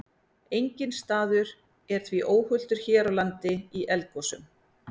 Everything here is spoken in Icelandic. Enginn staður er því óhultur hér á landi í eldgosum.